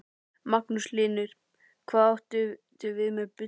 Magnús Hlynur: Hvað áttu við með bulli?